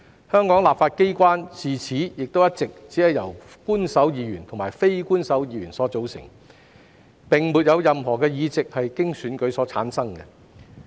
香港立法機關自此亦一直只由官守議員和非官守議員所組成，並沒有任何議席是經選舉產生。